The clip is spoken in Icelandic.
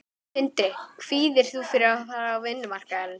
Sindri: Kvíðir þú fyrir að fara út á vinnumarkaðinn?